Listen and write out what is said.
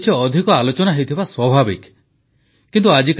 mask ପିନ୍ଧିବା ଓ ସାମାଜିକ ଦୂରତା ରକ୍ଷାକରିବା ଉପରେ ପ୍ରଧାନମନ୍ତ୍ରୀଙ୍କ ଗୁରୁତ୍ୱ